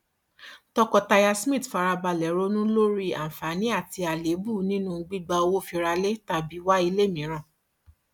tọkọtaya smith fara balẹ ronú lórí àǹfààní àti àléébù nínú gbígba owó fi ra ilé tàbí wá ilé mìíràn